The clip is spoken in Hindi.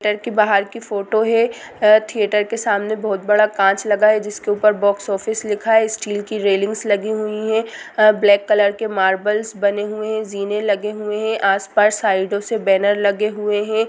होटल के बाहर का फोटो है थिएटर के सामने बहुत बड़ा कांच लगा है जिसके ऊपर बॉक्स ऑफिस लिखा हुआ है स्टील के रेलिंग्स लगी हुई हैं ब्लैक कलर के मार्बलस बने हुए है जीने लगे हुए हैं आस-पास साइडो में बैनर लगे हुए हैं।